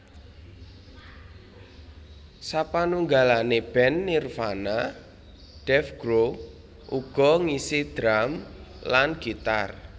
Sapanunggalane band Nirvana Dave Grohl uga ngisi drum lan gitar